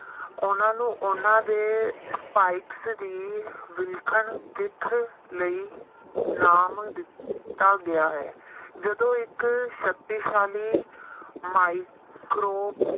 ਉਹਨਾਂ ਨੂੰ ਉਹਨਾਂ ਦੇ spikes ਦੀ ਵਿਲੱਖਣ ਦਿੱਖ ਲਈ ਨਾਮ ਦਿੱਤਾ ਗਿਆ ਹੈ ਜਦੋਂ ਇੱਕ ਸ਼ਕਤੀਸ਼ਾਲੀ micro